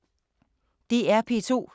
DR P2